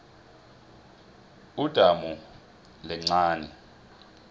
udamu lincani